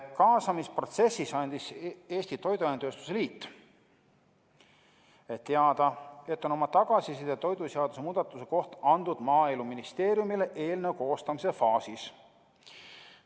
Kaasamisprotsessis andis Eesti Toiduainetööstuse Liit teada, et on oma tagasiside toiduseaduse muudatuse kohta andnud Maaeluministeeriumile eelnõu koostamise faasis.